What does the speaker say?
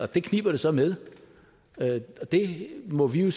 det kniber det så med og det må vi jo